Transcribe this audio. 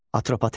Atropatena.